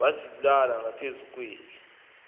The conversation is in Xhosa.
wazibalula ngaphezulu kweli